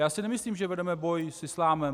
Já si nemyslím, že vedeme boj s islámem.